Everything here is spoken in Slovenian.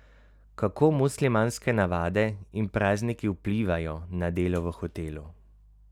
Kako muslimanske navade in prazniki vplivajo na delo v hotelu?